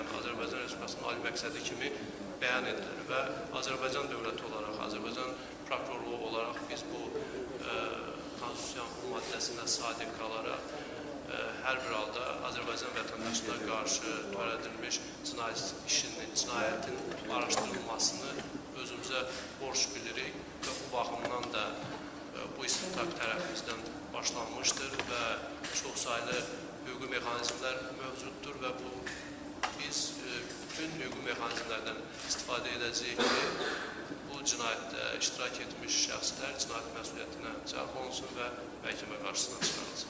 Yəni Azərbaycan Respublikasının ali məqsədi kimi bəyan edilir və Azərbaycan dövləti olaraq, Azərbaycan prokurorluğu olaraq biz bu Konstitusiyanın bu maddəsinə sadiq qalaraq hər bir halda Azərbaycan vətəndaşına qarşı törədilmiş cinayət işinin, cinayətin araşdırılmasını özümüzə borc bilirik və bu baxımdan da bu istintaq tərəfimizdən başlanmışdır və çoxsaylı hüquqi mexanizmlər mövcuddur və biz bütün hüquqi mexanizmlərdən istifadə edəcəyik ki, bu cinayətdə iştirak etmiş şəxslər cinayət məsuliyyətinə cəlb olunsun və məhkəmə qarşısına çıxarılsın.